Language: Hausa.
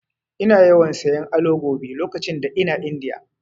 Ina yawan siyan Alo Gobi lokacin da ina Indiya.